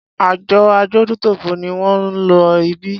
Àjọ adójútòfò ni wón ń lọ ibí.